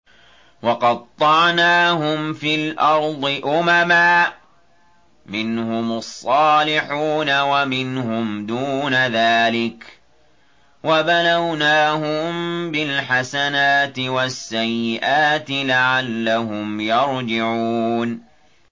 وَقَطَّعْنَاهُمْ فِي الْأَرْضِ أُمَمًا ۖ مِّنْهُمُ الصَّالِحُونَ وَمِنْهُمْ دُونَ ذَٰلِكَ ۖ وَبَلَوْنَاهُم بِالْحَسَنَاتِ وَالسَّيِّئَاتِ لَعَلَّهُمْ يَرْجِعُونَ